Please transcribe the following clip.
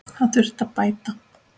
Það þurfi að bæta.